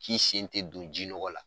K'i sen tɛ don ji nɔgɔ la